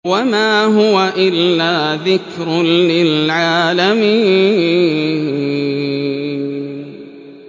وَمَا هُوَ إِلَّا ذِكْرٌ لِّلْعَالَمِينَ